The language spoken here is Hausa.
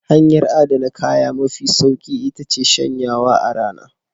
Hanyar adana kaya mafi sauki iya ce shanyawa a rana.